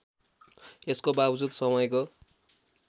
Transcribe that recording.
यसको बावजुद समयको